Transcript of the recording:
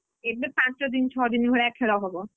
ଏବେ ପାଞ୍ଚ ଦିନ ଛଅ ଦିନ ଭଳିଆ ଖେଳ ହବ।